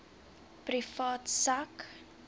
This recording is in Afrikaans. privaat sak